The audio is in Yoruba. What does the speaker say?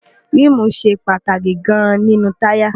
ríìmù ṣe pàtàkì gan-an nínú táyà